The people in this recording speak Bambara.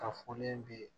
Ka fɔlen bi